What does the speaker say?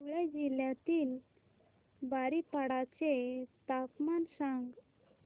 धुळे जिल्ह्यातील बारीपाडा चे तापमान सांग